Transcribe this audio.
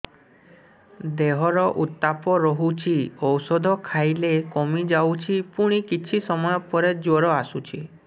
ଦେହର ଉତ୍ତାପ ରହୁଛି ଔଷଧ ଖାଇଲେ କମିଯାଉଛି ପୁଣି କିଛି ସମୟ ପରେ ଜ୍ୱର ଆସୁଛି